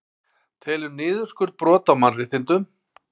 Telur niðurskurð brot á mannréttindum